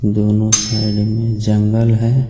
दोनों साइड में जंगल है.